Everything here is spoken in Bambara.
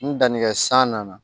N dannikɛ san nana